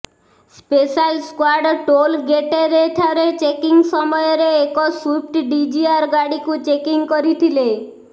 special squad toll ଗେଟେରେ ଠାରେ checking ସମୟରେ ଏକ ସ୍ବିଫ୍ଟ ଡିଜିଆର ଗାଡିକୁ ଚେକିଂ କରିଥିଲେ